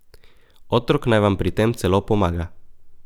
Otrok naj vam pri tem celo pomaga.